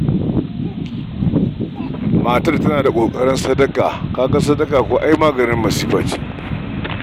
Matar tana da ƙoƙarin sadaka: ka ga kuwa ai ita sadaka maganin masifa ce.